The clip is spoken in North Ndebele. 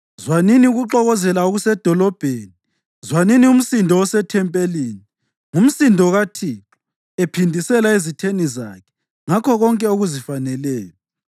Zwanini ukuxokozela okusedolobheni, zwanini umsindo osethempelini! Ngumsindo kaThixo ephindisela ezitheni zakhe ngakho konke okuzifaneleyo.